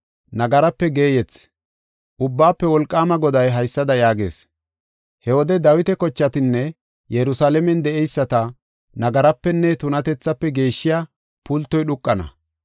Ubbaafe Wolqaama Goday haysada yaagees: “He wode Dawita kochatanne Yerusalaamen de7eyisata nagarapenne tunatethafe geeshshiya pultoy dhuuqana.